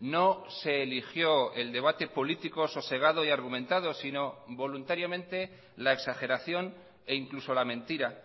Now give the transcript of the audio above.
no se eligió el debate político sosegado y argumentado sino voluntariamente la exageración e incluso la mentira